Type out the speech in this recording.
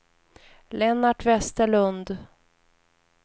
Lennart Westerlund